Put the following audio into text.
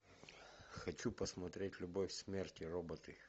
хочу посмотреть любовь смерть и роботы